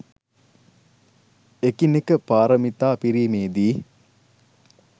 එකිනෙක පාරමිතා පිරීමේ දී,